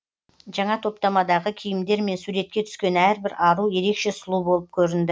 жаңа топтамадағы киімдермен суретке түскен әрбір ару ерекше сұлу болып көрінді